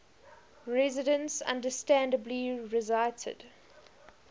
residents understandably resisted